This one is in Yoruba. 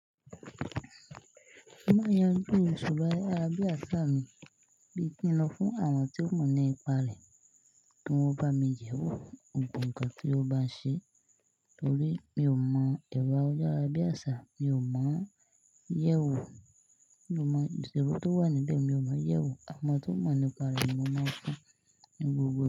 Má yanju isoro ayárabiàṣà mi bí kí n lọ fún àwọn tí ó mọ̀ nípa rẹ̀ kí wọ́n bá mi yẹ̀ wò gbogbo ǹkan tí ó bá ṣe torí mi ò mọ̀ ẹ̀rọ ayárabiàṣà, mi ò mọ̀ yẹ́ wò, ìṣirò tó wà níbẹ̀ mi ò mọ yẹ́ wò. Àwọn tí ó mọ̀ nípa rẹ̀ ni mo máa fún ní gbogbo.